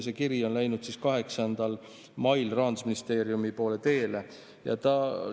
See kiri on läinud Rahandusministeeriumi poole teele 8. mail.